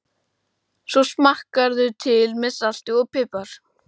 Svo smakkarðu til með salti og pipar.